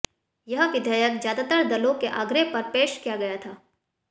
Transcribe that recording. यह विधेयक ज्यादातर दलों के आग्रह पर पेश किया गया था